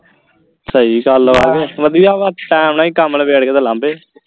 ਸਹੀ ਗੱਲ ਹੈ ਵਧੀਆ ਵਾ ਟੈਮ ਨਾਲ ਹੀ ਕੰਮ ਨਵੇੜ ਕੇ ਤੇ ਲਾਂਬੇ